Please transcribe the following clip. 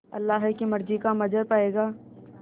अल्लाह की मर्ज़ी का मंज़र पायेगा